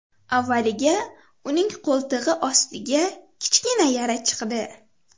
Avvaliga uning qo‘ltig‘i ostiga kichkina yara chiqdi.